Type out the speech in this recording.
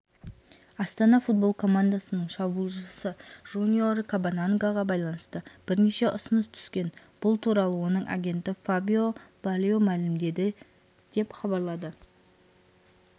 астана футбол командасының шабуылшысы жуниор кабанангаға байланысты бірнеше ұсыныс түскен бұл туралы оның агенті фабио бальо мәлімдеді деп хабарлады